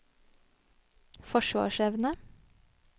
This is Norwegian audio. forsvarsevne